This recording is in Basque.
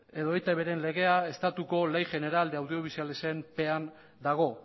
edo etbren legea estatuko ley general de audiovisualaren pean dago